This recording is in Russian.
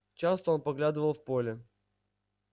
часто он поглядывает в поле